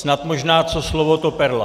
Snad možná - co slovo, to perla.